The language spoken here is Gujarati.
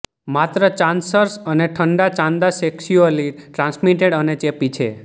માત્ર ચાન્સર્સ અને ઠંડા ચાંદા સેક્સ્યુઅલી ટ્રાન્સમિટેડ અને ચેપી છે